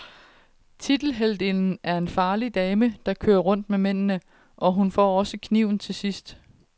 Tiltelheltinden er en farlig dame, der kører rundt med mændende, og hun får også kniven til sidst.